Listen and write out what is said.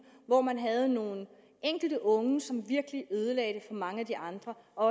hvor man havde nogle enkelte unge som virkelig ødelagde det for mange af de andre og